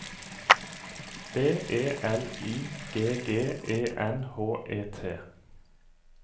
B E L I G G E N H E T